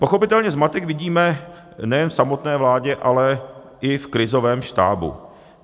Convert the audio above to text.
Pochopitelně zmatek vidíme nejen v samotné vládě, ale i v krizovém štábu.